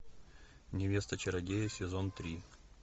невеста чародея сезон три